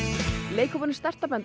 leikhópurinn